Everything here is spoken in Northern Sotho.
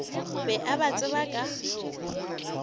be a ba tseba ka